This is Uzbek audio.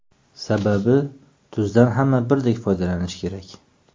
Sababi tuzdan hamma birdek foydalanishi kerak.